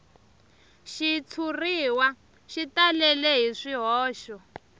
xitshuriwa xi talele hi swihoxo